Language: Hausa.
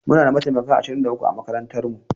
Muna da mataimaka ashirin da uku a makarantar mu